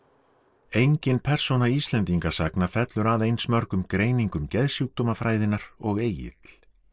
engin persóna Íslendingasagna fellur að eins mörgum greiningum og Egill